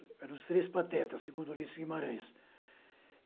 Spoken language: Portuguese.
Eram os três patetas, segundo o Luis Guimarães.